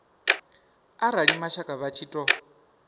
arali mashaka vha tshi ṱo